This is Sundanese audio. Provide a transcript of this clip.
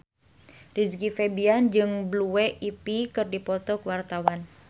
Rizky Febian jeung Blue Ivy keur dipoto ku wartawan